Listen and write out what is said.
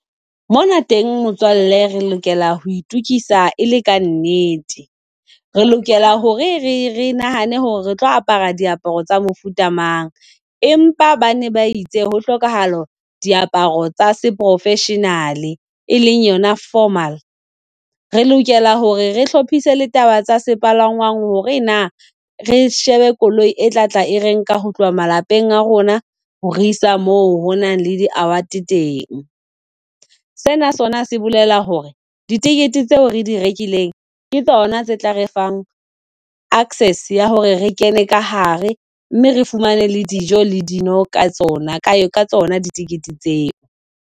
Mona teng motswalle re lokela ho itokisa, e le ka nnete re lokela hore re re nahane hore re tlo apara diaparo tsa mofuta mang, empa bane ba itse ho hlokahala diaparo tsa se-professional-e, e leng yona formal. Re lokela hore re hlophise le taba tsa sepalangwang hore na re shebe koloi e tla tla e re nka ho tloha malapeng a rona ho re isa moo ho nang le di-awards teng. Sena sona ha se bolela hore ditekete tseo re di rekileng ke tsona tse tla re fang access ya hore re kene ka hare. Mme re fumane le dijo le dino ka tsona ka tsona ditekete tseo.